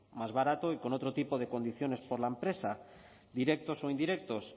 más baratos y con otro tipo de condiciones por la empresa directos o indirectos